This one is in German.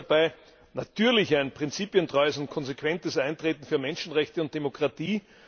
Wichtig ist dabei natürlich ein prinzipientreues und konsequentes Eintreten für Menschenrechte und Demokratie.